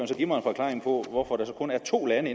så give mig en forklaring på hvorfor der så kun er to lande